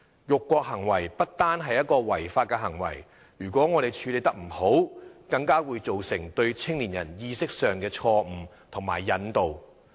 辱國行為不單是一種違法行為，如果我們處理不當，更會造成對青年人意識上的錯誤引導。